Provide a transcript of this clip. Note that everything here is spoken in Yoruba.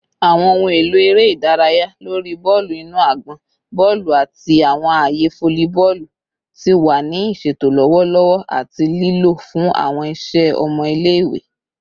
Awọn ohun elo ere idaraya lori bọọlu inu agbọn, bọọlu, ati awọn aaye folliboolu ti wa ni iṣeto lọwọlọwọ ati lilo fun awọn iṣẹ ọmọ ile-iwe